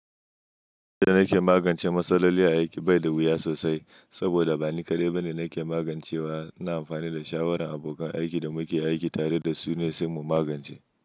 Yadda nake magance matsaloli a aiki bai da wuya sosai, saboda ba ni kaɗai ba ne nake magance wa. Ina amfani da shawaran abokan aikin da muke aiki tare da su ne sai mu magance.